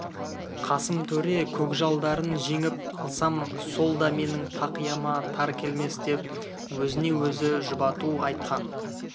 қасым төре көкжалдарын жеңіп алсам сол да менің тақияма тар келмес деп өзіне-өзі жұбату айтқан